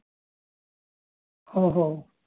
ஓஹோ